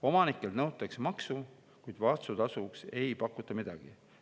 Omanikelt nõutakse maksu, kuid vastutasuks ei pakuta midagi.